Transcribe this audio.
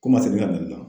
Ko n ma segin ka na ne la